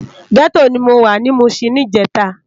Gètó ni mó wá ni Mushin nijètá